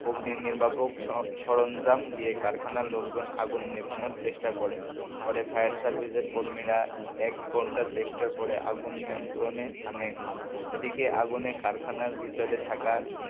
অগ্নি নির্বাপক সরঞ্জাম দিয়ে কারখানার লোকজন আগুন নেভানোর চেষ্টা করে পরে ফায়ার সার্ভিসের কর্মীরা এক ঘন্টা চেষ্টা করে আগুন নিয়ন্ত্রণে আনেন এদিকে আগুনে কারখানার ভিতরে থাকা,